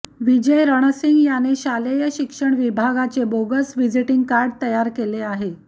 विजय रणसिंग याने शालेय शिक्षण विभागाचे बोगस व्हिजिटिंग कार्ड तयार केले आहे